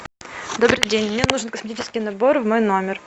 добрый день мне нужен косметический набор в мой номер